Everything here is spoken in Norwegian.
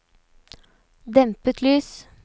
dempet lys